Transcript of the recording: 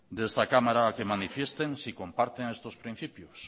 de esta cámara a que manifiesten si comparten estos principios